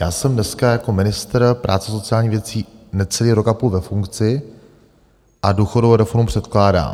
Já jsem dneska jako ministr práce a sociálních věcí necelý rok a půl ve funkci a důchodovou reformu předkládám.